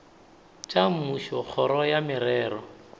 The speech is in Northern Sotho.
tša mmušo kgoro ya merero